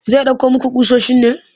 Zai ɗauko muku ƙusoshin ne?